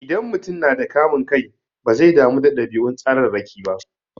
Idan mutum yana da kamun kai, bazai damu da ɗabi'un tsararraki ba.